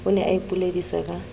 o ne o ipoledisa ka